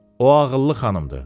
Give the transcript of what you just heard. O ağıllı xanımdır.